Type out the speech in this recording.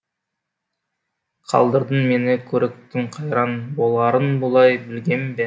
қалдырдың мені көрікітім қайран боларын бұлай білгем бе